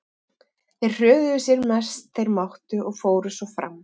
Þeir hröðuðu sér sem mest þeir máttu og fóru svo fram.